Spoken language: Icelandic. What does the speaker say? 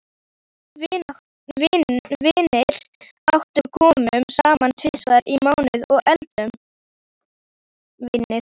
Við vinirnir átta komum saman tvisvar í mánuði og eldum.